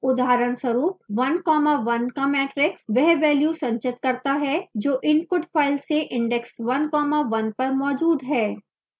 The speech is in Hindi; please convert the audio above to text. उदाहरणस्वरूप 1comma 1 का matrix वह value संचित करता है जो input file से index 1 comma 1 पर मौजूद है